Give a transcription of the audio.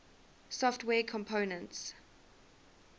software components